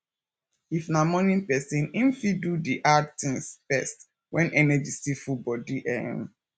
if na morning person im fit do di hard things first when energy still full bodi um